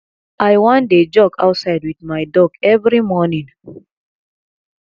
i wan dey jog outside with my dog every morning